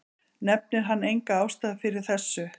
Nefnir hann enga ástæðu fyrir þessu.